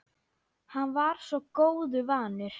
Hann var svo góðu vanur.